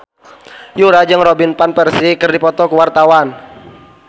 Yura jeung Robin Van Persie keur dipoto ku wartawan